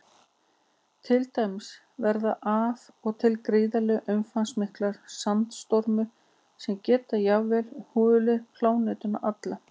Til dæmis verða af og til gríðarlega umfangsmiklir sandstormar sem geta jafnvel hulið plánetuna alla.